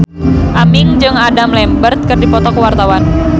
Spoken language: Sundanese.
Aming jeung Adam Lambert keur dipoto ku wartawan